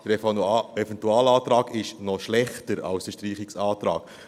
Der Eventualantrag ist noch schlechter als der Streichungsantrag.